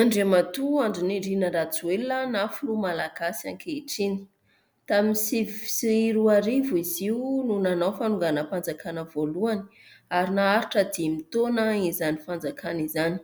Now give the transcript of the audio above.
Andriamatoa Andry Nirina RAJOELINA na filoha malagasy ankehitriny. Tamin'ny sivy sy roarivo izy io no nanao fanonganam-panjakana voalohany ary naharitra dimy taona izany fanjakàna izany.